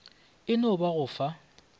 e no ba go fa